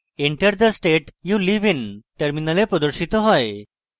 enter the state you live in: terminal প্রদর্শিত হয়